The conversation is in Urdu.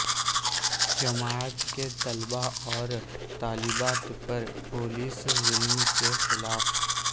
جامعات کے طلباء اور طالبات پر پولیس ظلم کے خلاف